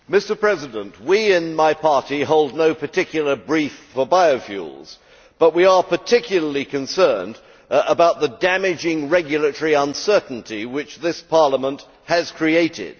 Mr President, my party holds no particular brief for biofuels, but we are particularly concerned about the damaging regulatory uncertainty which this Parliament has created.